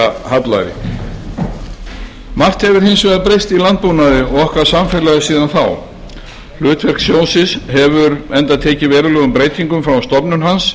að afstýra hallæri margt hefur hins vegar breyst í landbúnaði og okkar samfélagi síðan þá hlutverk sjóðsins hefur enda tekið verulegum breytingum frá stofnun hans